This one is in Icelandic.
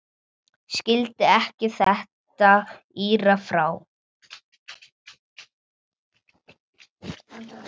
Skildi ekki þetta írafár.